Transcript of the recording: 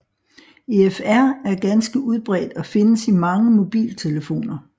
EFR er ganske udbredt og findes i mange mobiltelefoner